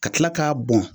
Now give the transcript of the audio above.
Ka kila k'a bɔn